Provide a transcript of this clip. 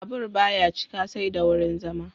Babur ba ya cika sai da wurin zama.